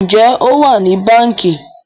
Njé o wá ní Bánkì?